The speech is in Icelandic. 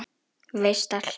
Veist allt.